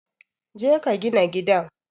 Je ka gina gidan